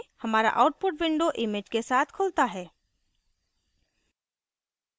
हमारा output window image के साथ खुलता है